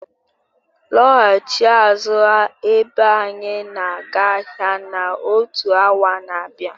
Lọghachi azụ abea anyị na-aga ahịa na otu awa n'abia